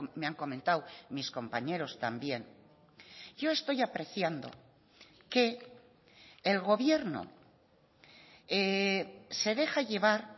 me han comentado mis compañeros también yo estoy apreciando que el gobierno se deja llevar